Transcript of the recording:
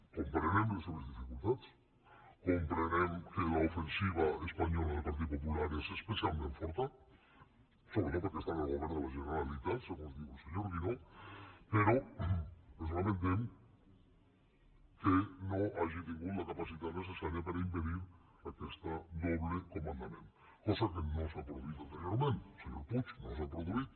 comprenem les seves dificultats comprenem que l’ofensiva espanyola del partit popular és especialment forta sobretot perquè està en el govern de la generalitat segons diu el senyor guinó però ens lamentem que no hagi tingut la capacitat necessària per impedir aquest doble comandament cosa que no s’ha produït anteriorment senyor puig no s’ha produït